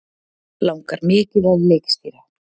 Langar mikið að leikstýra